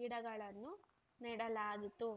ಗಿಡಗಳನ್ನು ನೆಡಲಾಗಿತ್ತು